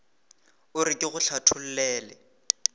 o re ke go hlathollele